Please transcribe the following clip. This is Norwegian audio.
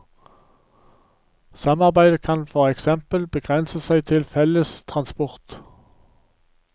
Samarbeidet kan for eksempel begrense seg til felles transport.